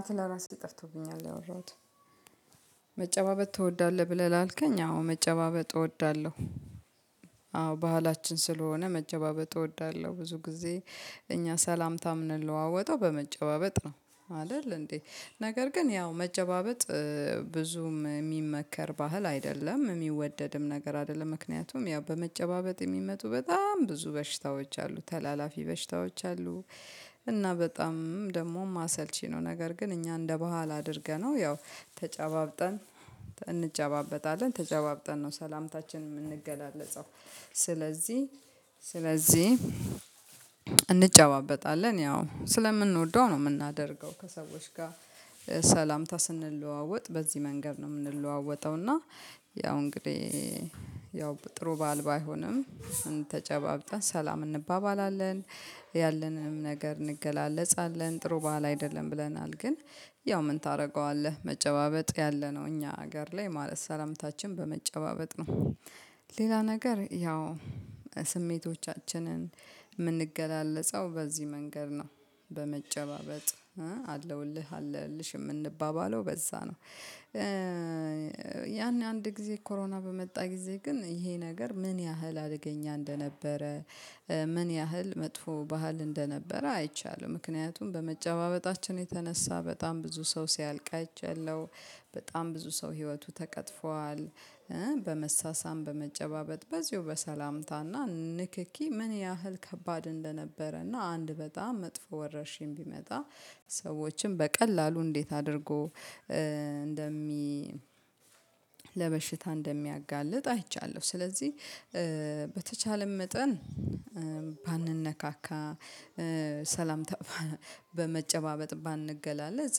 አንቴ ለራሴ ጠፍቶብኛል ያወራሁት መጨባበጥ ትወዳለህ ብለህ ላልከኝ አዎ መጨባበጥ እወዳለሁ። አዎ ባህላችን ስለሆነ መጨባበጥ እወዳለሁ ብዙ ጊዜ እኛ ሰላምታ ምንለዋወጠው በመጨባበጥ ነው አይደል እንዴ ነገር ግን ያው መጨባበጥ ብዙም የሚመከር ባህል አይደለም የሚወደድም ነገር አይደለም ምክንያቱም ያው በመጨባበጥ የሚመጡ በጣም ብዙ በሽታዎች አሉ ተላላፊ በሽታዎች አሉ። እና በጣም ደግሞ ማሰልቺ ነው ነገር ግን እኛ እንደ በኋላ አድርገነው ያው ተጨባብጠን እንጨባበጣለን ተጨባብጠን ነው ሰላምታችን የምንገላለጸው። ስለዚህ ስለዚህ እንጨባበጣለን ያው ስለምንወደው ነው የምናደርገው ከሰዎች ጋር ሰላምታ ስንለዋወጥ በዚህ መንገድ ነው የምንለዋወጠው እና ያው እንግዲህ ያው ጥሩ ባህል ባይሆንም ተጨባብጠን ሰላም እንባባላለን ያለንም ነገር እንገላለጻለን ጥሩ ባህል አይደለም። ብለናል ግን ያው ምን ታደርገዋለህ መጨባበጥ ያለነው እኛ ሀገር ላይ ማለት ሰላምታችን በመጨባበጥ ነው። ሌላ ነገር ያው ስሜቶቻችንን የምንገላለጸው በዚህ መንገድ ነው በመጨባበጥ አለውልህ አለሁልሽ የምንባባለው በዛ ነው። ያን አንድ ጊዜ ኮሮና በመጣ ጊዜ ግን ይሄ ነገር ምን ያህል አደገኛ እንደነበረ ምን ያህል መጥፎ ባህል እንደነበረ አይቻለሁ ምክንያቱም በመጨባበጣችን የተነሳ በጣም ብዙ ሰው ሲያልቅ አይቻለሁ። በጣም ብዙ ሰው ህይወቱ ተቀጥፏል በመሳሳም በመጨባበጥ በዚሁ በሰላምታና ንክኪ ምን ያህል ከባድ እንደነበረና አንድ በጣም መጥፎ ወረርሽኝ ቢመጣ ሰዎችን በቀላሉ እንዴት አድርጎ እንደሚ ለበሽታ እንደሚያጋልጥ አይቻለሁ። ስለዚህ በተቻለን መጠን ባንነካካ ሰላምታ በመጨባበጥ ባንገላለጽ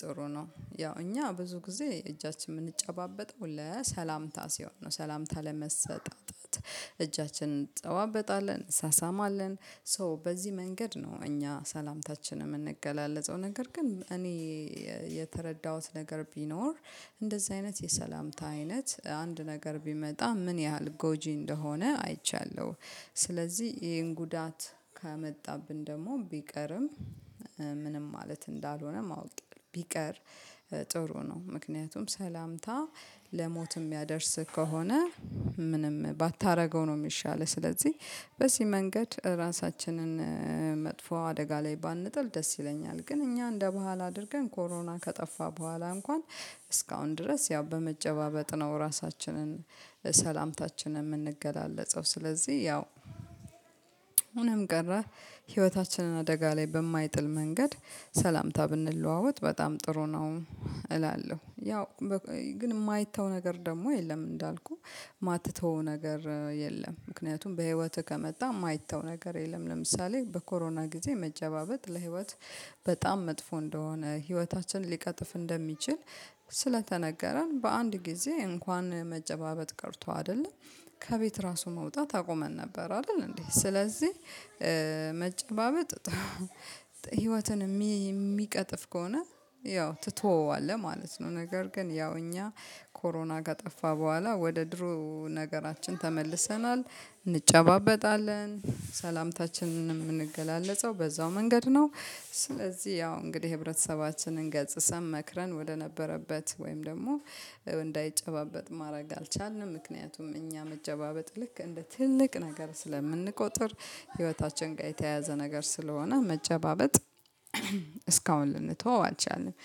ጥሩ ነው። ያው እኛ ብዙ ጊዜ እጃችን የምንጨባበጠው ለሰላምታ ሲሆን ነው ሰላምታ ለመሰጣጣት እጃችንን እንጨባበጣለን እንሳሳማለን ሶ በዚህ መንገድ ነው እኛ ሰላምታችን የምንገላለጸው ነገር ግን እኔ የተረዳሁት ነገር ቢኖር እንደዚህ አይነት የሰላምታ አይነት አንድ ነገር ቢመጣ ምን ያህል ጎጂ እንደሆነ አይቻለሁ። ስለዚህ ይሄን ጉዳት ከመጣብን ደግሞ ቢቀርም ምንም ማለት እንዳልሆነ ማወቅ ቢቀር ጥሩ ነው። ምክንያቱም ሰላምታ ለሞትም ምያደርስ ከሆነ ምንም ባታደርገው ነው የሚሻለው ስለዚህ በዚህ መንገድ ራሳችንን መጥፎ አደጋ ላይ ባንጥል ደስ ይለኛል። ግን እኛ እንደ ባህል አድርገን ኮሮና ከጠፋ በኋላ እንኳን እስካሁን ድረስ ያው በመጨባበጥ ነው ራሳችንን ሰላምታችንን የምንገላለጸው ስለዚህ ያው ሆኖም ቀረ ህይወታችንን አደጋ ላይ በማይጥል መንገድ ሰላምታ ብንለዋወጥ በጣም ጥሩ ነው። እላለሁ ያው ግን የማይተው ነገር ደግሞ የለም እንዳልኩህ የማትተው ነገር የለም ምክንያቱም በህይወትህ ከመጣ የማይተው ነገር የለም። ለምሳሌ በኮሮና ጊዜ መጨባበጥ ለህይወት በጣም መጥፎ እንደሆነ ህይወታችን ሊቀጥፍ እንደሚችል ስለተነገረን በአንድ ጊዜ እንኳን መጨባበጥ ቀርቶ አይደለም ከቤት ራሱ መውጣት አቁመን ነበር አይደል እንዴ ስለዚህ መጨባበጥ ህይወትን የሚቀጥፍ ከሆነ ያው ትተወዋለህ ማለት ነው። ነገር ግን ያው እኛ ኮሮና ከጠፋ በኋላ ወደ ድሮ ነገራችን ተመልሰናል እንጨባበጣለን ሰላምታችንን የምንገላለጸው በዛው መንገድ ነው። ስለዚህ ያው እንግዲህ ህብረተሰባችንን ገጽሰን መክረን ወደነበረበት ወይም ደግሞ እንዳይጨባበጥ ማድረግ አልቻልንም ምክንያቱም እኛ መጨባበጥ ልክ እንደ ትልቅ ነገር ስለምንቆጥር ህይወታችን ጋር የተያያዘ ነገር ስለሆነ መጨባበጥ እስካሁን ልንተው አልቻልንም።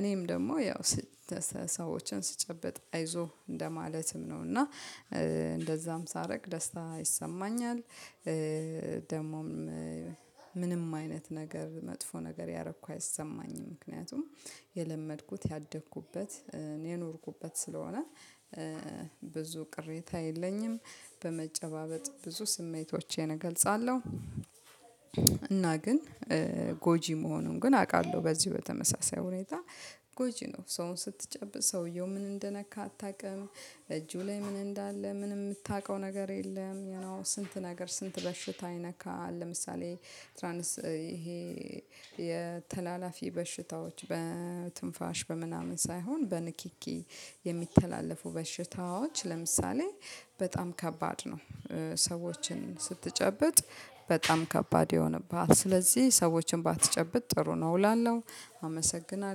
እኔም ደግሞ ያው ሰዎችን ስጨበጥ አይዞህ እንደማለትም ነው እና እንደዛም ሳረግ ደስታ ይሰማኛል። ደግሞም ምንም አይነት ነገር መጥፎ ነገር ያረኩ አይሰማኝም ምክንያቱም የለመድኩት ያደግኩበት የኖርኩበት ስለሆነ ብዙ ቅሬታ የለኝም። በመጨባበጥ ብዙ ስሜቶቼን እገልጻለሁ። እና ግን ጎጂ መሆኑን ግን አውቃለሁ በዚህ በተመሳሳይ ሁኔታ ጎጂ ነው ሰውን ስትጨብጥ ሰውየው ምን እንደነካ አታውቅም? እጁ ላይ ምን እንዳለ ምን የምታውቀው ነገር የለም? የኖ ስንት ነገር ስንት በሽታ ይነካል ለምሳሌ ትራንስ ይሄ የተላላፊ በሽታዎች በትንፋሽ በምናምን ሳይሆን በንኪኪ የሚተላለፉ በሽታዎች ለምሳሌ በጣም ከባድ ነው። ሰዎችን ስትጨብጥ በጣም ከባድ ይሆንብሃል ስለዚህ ሰዎችን ባትጨብጥ ጥሩ ነው እላለሁ። አመሰግናለሁ